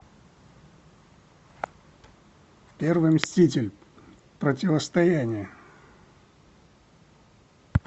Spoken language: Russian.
первый мститель противостояние